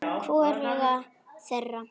Hvoruga þeirra.